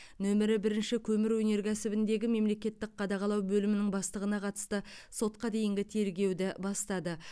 нөмірі бірінші көмір өнеркәсібіндегі мемлекеттік қадағалау бөлімінің бастығына қатысты сотқа дейінгі тергеуді бастады